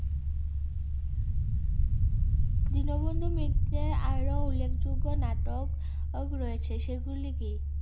দীনবন্ধু মিত্রের আরো উল্লেখযোগ্য নাটক -ওক রয়েছে। সেগুলি কি?